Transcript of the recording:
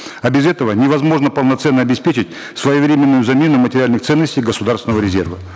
а без этого невозможно полноценно обеспечить своевременную замену материальных ценностей государственного резерва